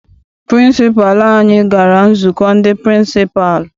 Pịrịnsịpalụ anyị gara nzukọ ndị pịrịnsịpalụ.